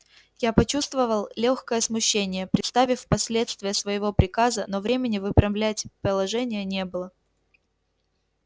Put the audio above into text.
я почувствовал лёгкое смущение представив последствия своего приказа но времени выправлять положение не было